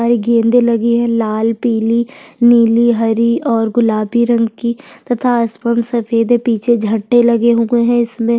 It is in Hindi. गेंदे लगी है लाल पिली नीली हरी और गुलाबी रंग की तथा आस पास पीछे झठे लगे हुए है इसमें --